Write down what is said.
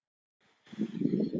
Enda gull af manni.